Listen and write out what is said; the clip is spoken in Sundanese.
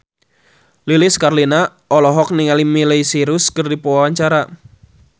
Lilis Karlina olohok ningali Miley Cyrus keur diwawancara